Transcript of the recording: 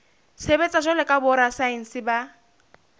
sebetsa jwalo ka borasaense ba